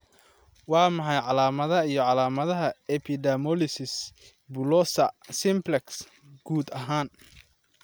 Waa maxay calaamadaha iyo calaamadaha Epidermolysis bullosa simplex, guud ahaan?